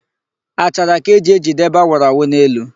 Achara ka e ji ejide ebe a wụrụ awu n'elu.